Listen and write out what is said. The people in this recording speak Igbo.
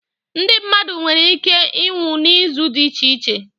Ndị mmadụ nwere ike iịnwụ n'ụzọ dị iche iche